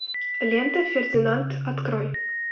лента фердинанд открой